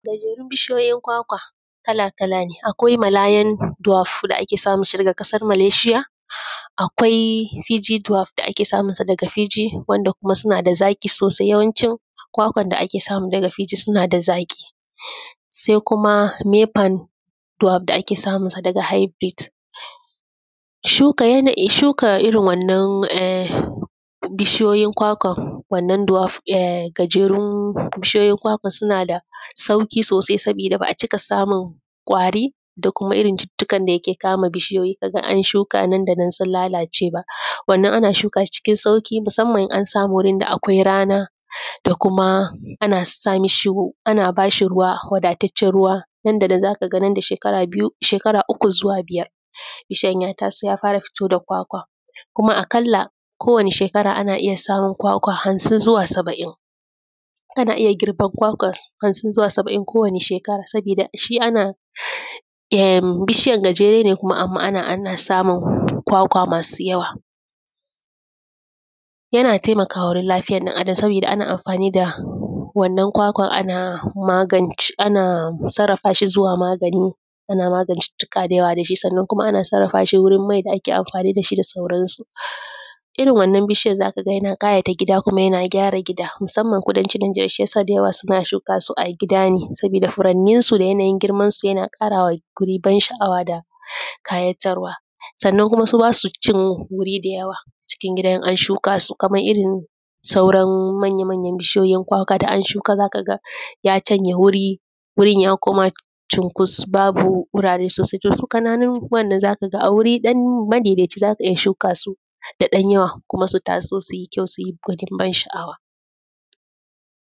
Gajerun bishiyoyin kwakwa kala kala ne, akwai malayan dwarf da ake samun shi daga ƙasar maleshiya, akwai pg dwarf da ake samu su daga pg wanda kuma suna da zaƙi sosai. Yawanci kwakwan da ake samu daga pg suna da zaƙi. Sai kuma maypan dwarf da ake samu su daga hybrid. Shuka irin wannan gajerun bishiyoyin kwakwan, wannan gajerun bishiyoyin suna da sauƙi sosai, sabida ba a cika samun ƙwari, da kuma irin cucuttuka da ke kama bishiyoyi ka ga an shuka nan da nan sun lalace ba. Wannan ana shuka shi cikin sauƙi musamman in an samu wurin da akwai rana da kuma ana bashi ruwa wadatacce ruwa, nan da nan za ka ga nan da shekara biyu, shekara uku zuwa biyar bishiyana ya taso ya fara fito da kwakwan, kuma aƙalla ko wane shekara ana iya samun kwakwa hamsin zuwa saba'in. ana iya girban kwakwan hamsin zuwa saba'in ko wane shekara saboda shi ana, bishiyan gajere ne amma ana samun kwakwa masu yawa. Yana taimakawa wurin lafiya ɗan Adam sabida ana anfanin da wannan kwakwan ana sarafashi zuwa magani ana magance cucuttuka da yawa da shi, sannan kuma ana sarafa shi wurin mai da ake amfani da shi da sauran su. Irin wannan bishiyan za ka ga yana ƙawata gida kuma yana gyara gida musaman kudanci Indiya, shi yasa da yawa za ka ga suna shuka su a gida ne saboda furanin su da yanayin girman su yana ƙarawa guri ban sha'awa da ƙayatarwa. Sanan kuma su ba su cin wurin da yawa a cikin gida in an shuka su, kamar irin sauran manya manya bishiyoyin kwakwan da an shuka za ka ga ya cinye wuri, wurin ya koma cukus babu wurare sosai. To su ƙananun wannan za ka ga a wuri ɗan madaidaici za ka shuka su har da ɗan yawa kuma su taso su yi kyau su yi ban sha'awa.